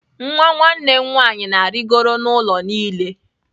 Nwa nwanne m nwanyị na-arịgoro n'ụlọ niile.